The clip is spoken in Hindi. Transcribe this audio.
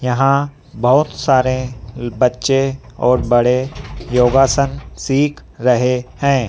यहां बहुत सारे बच्चे और बड़े योगासन सीख रहे हैं।